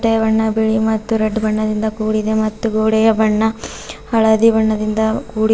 ಬಣ್ಣ ಬಿಳಿ ಮತ್ತು ರೇಡ್ ಬಣ್ಣದಿಂದ ಕೂಡಿದೆ ಮತ್ತು ಗೋಡೆಯ ಬಣ್ಣ ಹಳದಿ ಬಣ್ಣದಿಂದ ಕೂಡಿದೆ.